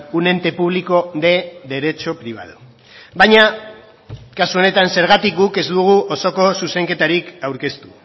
un ente público de derecho privado baina kasu honetan zergatik guk ez dugu osoko zuzenketarik aurkeztu